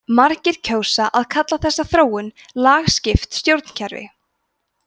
margir kjósa að kalla þessa þróun lagskipt stjórnkerfi